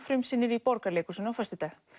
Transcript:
frumsýnir í Borgarleikhúsinu á föstudag